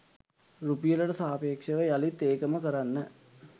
රුපියලට සාපේක්ෂව යළිත් ඒකම කරන්න